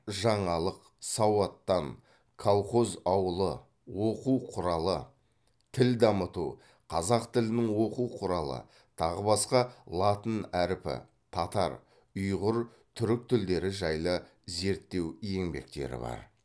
жаңалық сауаттан колхоз ауылы оқу құралы тіл дамыту қазақ тілінің оқу құралы тағы басқа латын әрпі татар ұйғыр түрік тілдері жайлы зерттеу еңбектері бар